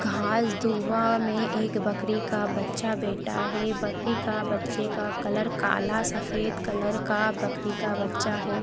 घास दुहा में एक बकरी का बच्चा बैठा है बकरी के बच्चे का कलर काला या सफेद कलर का बकरी का बच्चा है।